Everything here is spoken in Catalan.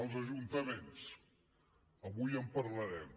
els ajuntaments avui en parlarem